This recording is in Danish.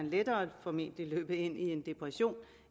lettere løbe ind i en depression